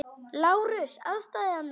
LÁRUS: Aðstoða mig!